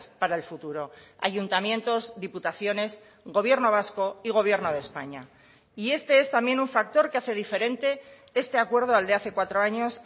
para el futuro ayuntamientos diputaciones gobierno vasco y gobierno de españa y este es también un factor que hace diferente este acuerdo al de hace cuatro años